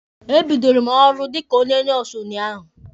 E bidoro mụ ọrụ dịka onye nọọsụ unyaahụ.